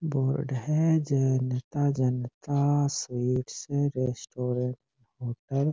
board है Janata Janata sweets restaurant hotel --